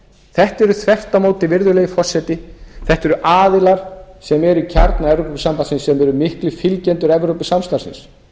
þetta eru þvert á móti virðulegi forseti þetta eru aðilar sem eru í kjarna evrópusambandsins sem eru miklir fylgjendur evrópusamstarfsins